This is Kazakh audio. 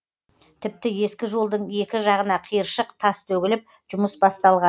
тіпті ескі жолдың екі жағына қиыршық тас төгіліп жұмыс басталған